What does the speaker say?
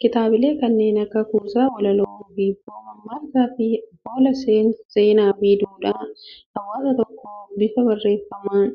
Kitaabilee kanneen akka kuusaa walaloo, hibboo, mammaaksa fi afoolaa, seenaa fi duudhaa hawaasa tokkoo bifa barreeffamaan